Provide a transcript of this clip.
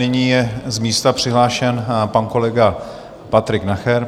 Nyní je z místa přihlášen pan kolega Patrik Nacher.